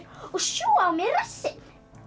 sjúga á mér rassinn